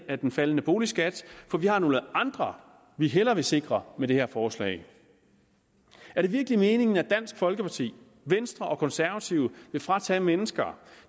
af den faldende boligskat for vi har nogle andre vi hellere vil sikre med det her forslag er det virkelig meningen at dansk folkeparti venstre og konservative vil fratage mennesker